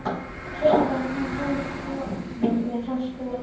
Heitt vatn fannst við borun með Franks-bor á